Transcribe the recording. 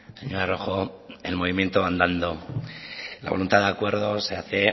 señora rojo el movimiento andando la voluntad de acuerdo se hace